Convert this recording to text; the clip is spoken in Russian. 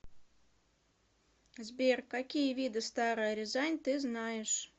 сбер какие виды старая рязань ты знаешь